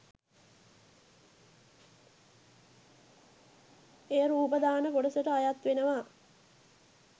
එය රූපදාන කොටසට අයත් වෙනවා.